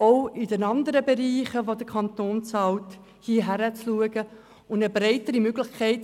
Auch in den anderen Bereichen, in denen der Kanton bezahlt, wäre es sinnvoll, hinzuschauen und mehr Transparenz zu ermöglichen.